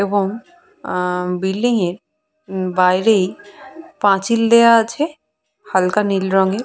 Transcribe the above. এবং আহঃ বিল্ডিং এর বাইরেই পাঁচিল দেয়া আছে হালকা নীল রঙের।